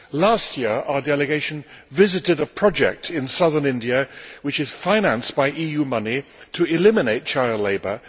Last year, our delegation visited a project in southern India, which is financed by EU money, to eliminate child labour.